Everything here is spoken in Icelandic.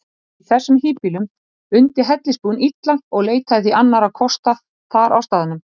Í þessum híbýlum undi hellisbúinn illa og leitaði því annarra kosta þar á staðnum.